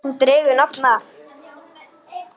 Hún dregur nafn af